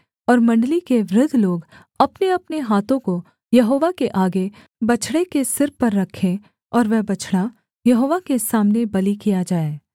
और मण्डली के वृद्ध लोग अपनेअपने हाथों को यहोवा के आगे बछड़े के सिर पर रखें और वह बछड़ा यहोवा के सामने बलि किया जाए